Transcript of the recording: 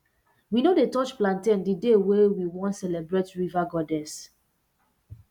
we no dey touch plantain the day wey we wan celebrate river goddess